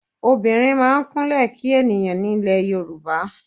Obìnrin máa ń Kúnlẹ́ kí ènìyàn ní ilè Yorùbá.